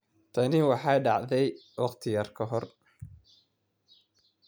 Tani waxay dhacday wakhti yar ka hor